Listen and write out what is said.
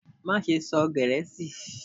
Maṣe sọ Gẹẹsi!